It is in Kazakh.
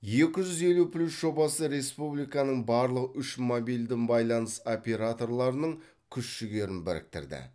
екі жүз елу плюс жобасы республиканың барлық үш мобильді байланыс операторларының күш жігерін біріктірді